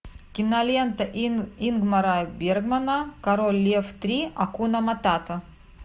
кинолента ингмара бергмана король лев три акуна матата